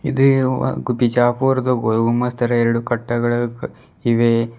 ಬಿಜಾಪುರದ ಗೋಲ್ ಗುಂಬಜ್ ತರ ಎರಡು ಕಟ್ಟಗಳು ಇವೆ.